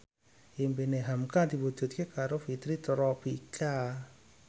impine hamka diwujudke karo Fitri Tropika